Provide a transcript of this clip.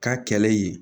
K'a kɛlɛ yen